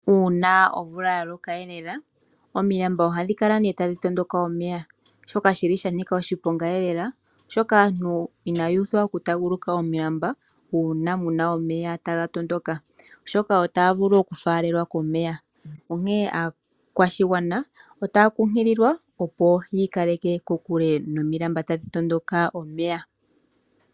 Uuna omvula ya loka lela omilamba ohadhi kala tadhi tondoka omeya shoka shanika oshiponga oshoka aantu ina yuuthwa oku kala taya taaguluka omulamba uuna muna omeya taga tondoka, oshoka ohaga vulu okufaalelwa komeya. Onkene aakwashigwana otaya kunkililwa, opo ya kale kokule nomilanba tadhi tondoka omeya.